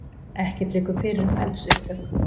Ekkert liggur fyrir um eldsupptök